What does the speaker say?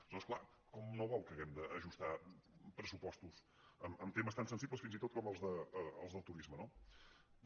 aleshores clar com no vol que hàgim d’ajustar pressupostos en temes tan sensibles fins i tot com els del turisme no bé